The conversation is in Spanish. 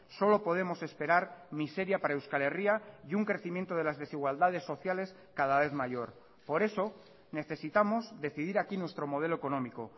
solo podemos esperar miseria para euskal herria y un crecimiento de las desigualdades sociales cada vez mayor por eso necesitamos decidir aquí nuestro modelo económico